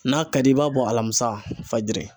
N'a ka d'i ye i b'a bɔ alamisa fajiri.